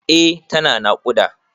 Eh tana naƙuda.